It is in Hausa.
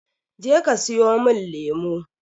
Je ka siyomin lemo!